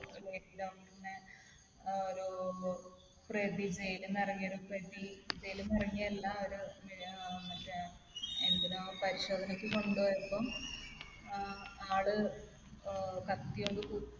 നിന്നിറങ്ങിയൊരു പ്രതി jail ൽ നിന്ന് ഇറങ്ങിയത് അല്ല. ഒരു ഏർ മറ്റേ എന്തിനോ പരിശോധനക്ക് കൊണ്ട് പോയപ്പോൾ ആൾ ഏർ കത്തി കൊണ്ട് കുത്തി